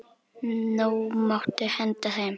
Nú máttu henda þeim.